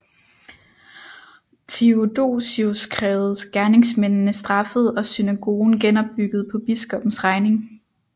Theodosius krævede gerningsmændene straffet og synagogen genopbygget på biskoppens regning